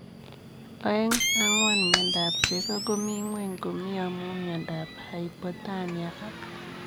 Oeng, angwan miondop chego komii ngweny komii amuu miondoop haipotonia ak